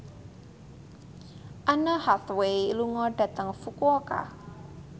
Anne Hathaway lunga dhateng Fukuoka